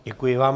Děkuji vám.